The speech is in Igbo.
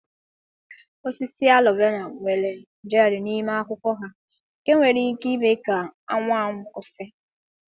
Osisi aloe vera nwere jel n'ime akwụkwọ ha nke nwere ike ime ka anwụ anwụ kwụsị.